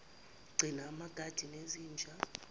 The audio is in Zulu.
gcina amakati nezinja